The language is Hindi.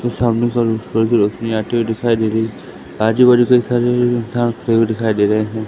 सामने से हल्की रोशनी आती हुई दिखाई दे रही है। आजूबाजू कई सारे इंसान खड़े हुए दिखाई दे रहे है।